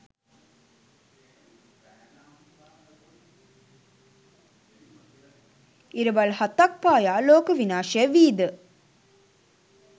ඉරවල් හතක් පායා ලෝක විනාශය වීද?